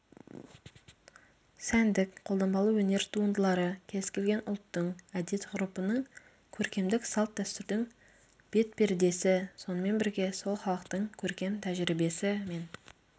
сәндік қолданбалы өнер туындылары кез-келген ұлттың әдет-ғұрыпының көркемдік салт-дәстүрдің бет пердесі сонымен бірге сол халықтың көркем тәжірибесі мен